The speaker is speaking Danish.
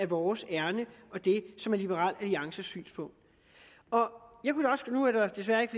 vores ærinde og det som er liberal alliances synspunkt nu er der desværre ikke